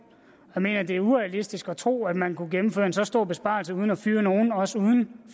jeg mener at det er urealistisk at tro at man kunne gennemføre en så stor besparelse uden at fyre nogen også uden